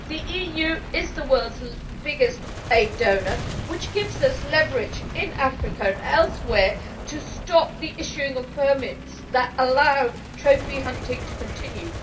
The EU is the world's biggest aid donor, which gives us leverage in Africa and elsewhere to stop the issuing of permits that allow trophy hunting to continue.